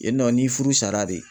Yen nɔ ni furu sara de